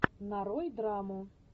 нарой драму